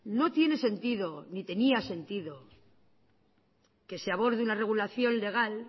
no tiene sentido ni tenía sentido que se aborde una regulación legal